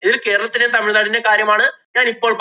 ഇത് കേരളത്തിലേം, തമിഴ് നാടിന്‍റേം കാര്യമാണ് ഞാനിപ്പോള്‍~